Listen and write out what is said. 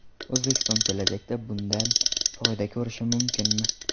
O‘zbekiston kelajakda bundan foyda ko‘rishi mumkinmi?